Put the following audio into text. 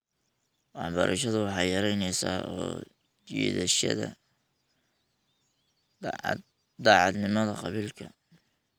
Waxbarashadu waxay yaraynaysaa soo jiidashada daacadnimada qabiilka .